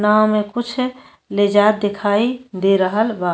नाव में कुछ ले जात दिखाई दे रहल बा।